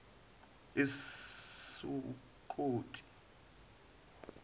esukoti